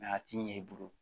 a t'i ɲɛ i bolo